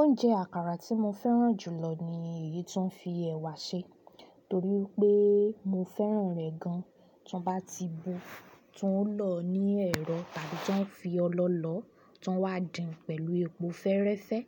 Oúnjẹ àkàrà tí mo fẹ́ràn jù lọ ni èyí tó ń fi ẹ̀wà ṣe torí pé mo fẹ́ràn rẹ̀ gan. Tí wọ́n bá ti bu, tí wọ́n lọ ní ẹ̀rọ tàbí tí wọ́n fi ọlọ lọ, tí wọ́n wá dín pẹ̀lú epo fẹ́rẹ́fẹ́.